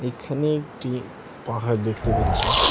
এখানে একটি পাহাড় দেখতে পাচ্ছি।